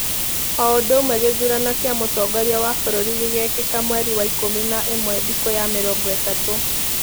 Oũndũũmwe gĩthũrano kĩa mũtongoria wa bũrũri gĩgekĩka mweri wa ikũmi na ĩmwe thĩkũya mĩrongo ĩtatũ.